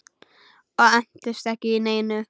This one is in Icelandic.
Og entist ekki í neinu.